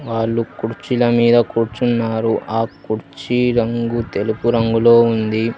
వాళ్లు కుర్చీల మీద కూర్చున్నారు ఆ కుర్చీ రంగు తెలుపు రంగులో ఉంది.